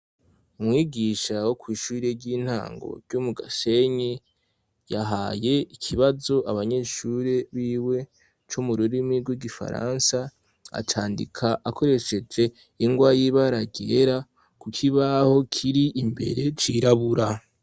Umwigisha wo kw' ishuri ry'intango ryo mu Gasenyi yahaye ikibazo abanyeshuri b'iwe co mu rurimi rw'igifaransa, acandika akoresheje ingwa y'ibara ryera ku kibaho kiri imbere cirabura.